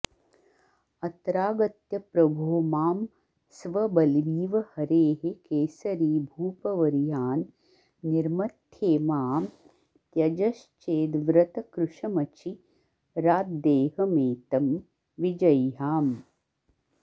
अत्रागत्य प्रभो मां स्वबलिमिव हरेः केसरी भूपवर्यान् निर्मथ्येमां त्यजश्चेद्व्रतकृशमचिराद्देहमेतं विजह्याम्